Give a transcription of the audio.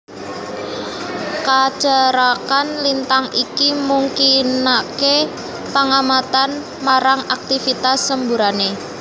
Kacerakan lintang iki mungkinaké pangamatan marang aktivitas semburanné